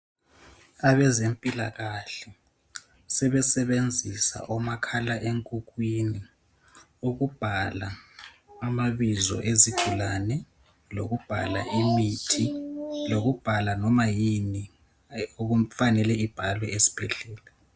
Abezempilakahle sebenzisa omakhalenkukhwini ukubhala amabizo izigulane lokubhala imithi, lokubhala loba yini efanelwe ibhaliwe esibhedlela.